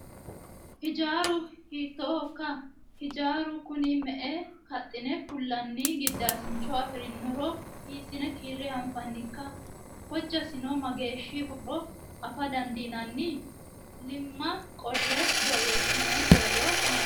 Hijaaru hiittoho? Hijaaru Kuni me"e kaxxine fullanni gidaasincho afirinoro hiissine kiirre anfannikka? Hijjasino mageehoro afa dandiinanni? Iimaa qolle borreessinoyi borro mayiitate?